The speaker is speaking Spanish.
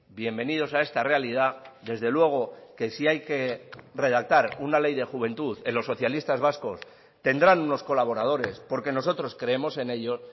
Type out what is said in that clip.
bienvenidos a esta realidad desde luego que si hay que redactar una ley de juventud en los socialistas vascos tendrán unos colaboradores porque nosotros creemos en ello